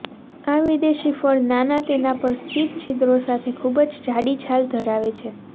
આ વિદેશી ફળ નાના તેના પર સ્થિત છિદ્રો સાથે ખૂબ જ જાડી છાલ ધરાવે છે